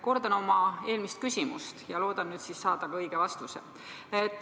Kordan oma eelmist küsimust ja loodan nüüd siis saada ka õige vastuse.